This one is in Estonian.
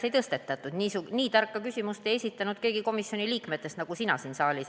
Nii tarka küsimust, nagu sina siin saalis esitasid, ei esitanud komisjoni liikmetest keegi.